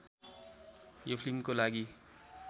यो फिल्मको लागि